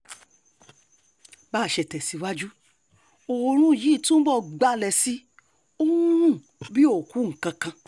bá a ṣe tẹ̀síwájú oòrùn yìí túbọ̀ gbalẹ̀ sí i ó ń rùn bíi òkú nǹkan kan